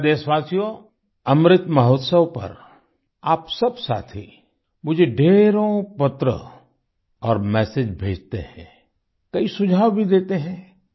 मेरे प्यारे देशवासियो अमृत महोत्सव पर आप सब साथी मुझे ढ़ेरों पत्र और मेसेज भेजते हैं कई सुझाव भी देते हैं